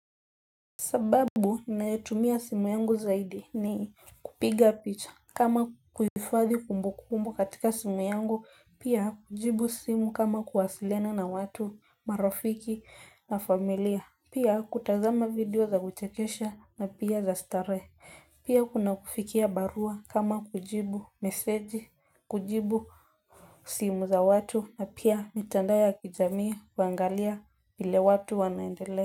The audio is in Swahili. Sababu ninayotumia simu yangu zaidi ni kupiga picha kama kuhifadhi kumbukumbu katika simu yangu, pia kujibu simu kama kuwasiliana na watu, marafiki na familia, pia kutazama video za kuchekesha na pia za starehe pia kuna kufikia barua kama kujibu meseji kujibu simu za watu na pia mitandao ya kijamii kuangalia vile watu wanaendelea.